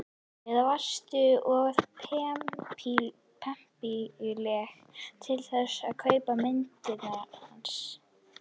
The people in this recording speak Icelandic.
Eða varstu of pempíuleg til þess að kaupa myndirnar hans?